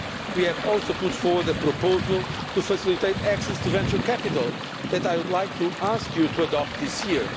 We have also put forward a proposal to facilitate access to venture capital, which I would like to ask you to adopt this year.